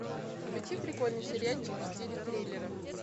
включи прикольный сериальчик в стиле триллера